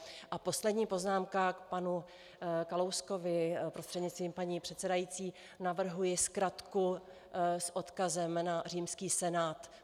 A poslední poznámka k panu Kalouskovi prostřednictvím paní předsedající: Navrhuji zkratku s odkazem na římský senát.